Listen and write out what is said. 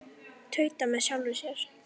Tauta með sjálfri mér.